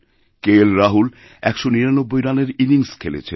কেএলরাহুল ১৯৯ রানের ইনিংস খেলেছেন